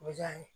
O bɛ diya ye